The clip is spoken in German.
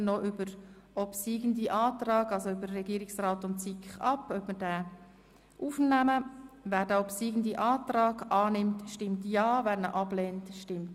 Nun stimmen wir noch darüber ab, ob wir den obsiegenden Antrag aufnehmen oder nicht.